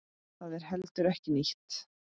Það er heldur ekki nýtt.